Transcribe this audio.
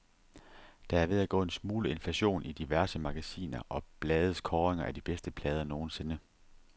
Der er ved at gå en smule inflation i diverse magasiner og blades kåringer af de bedste plader nogensinde.